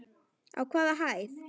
Á hvaða hæð?